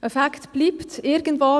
Es bleibt ein Fact: